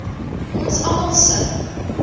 ons almal se